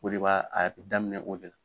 O de b'a daminɛ o de la.